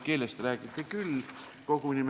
Keelest räägiti küll.